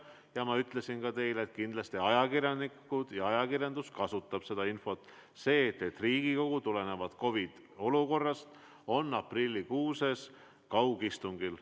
Ja ma ütlesin teile sedagi, et kindlasti ka ajakirjanikud kasutavad seda infot, et Riigikogu on COVID-i olukorra tõttu aprillikuus kaugistungil.